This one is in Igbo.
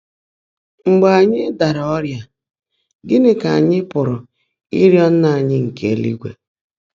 Mgbe ányị́ dààrá ọ́rị́á, gị́ní kà ányị́ pụ́rụ́ ị́rị́ọ́ Nnã ányị́ nkè élúigwè?